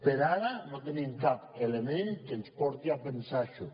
per ara no tenim cap element que ens porti a pensar això